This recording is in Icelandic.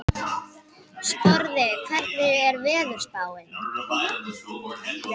Sporði, hvernig er veðurspáin?